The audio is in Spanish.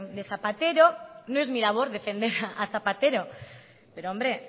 de zapatero no es mi labor defender a zapatero pero hombre